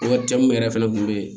mun yɛrɛ fɛnɛ kun be yen